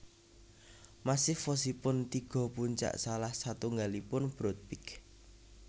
Massif wosipun tiga puncak salah satunggalipun Broad Peak